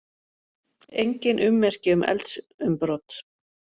Engin ummerki um eldsumbrot